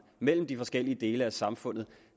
mellem de forskellige dele af samfundet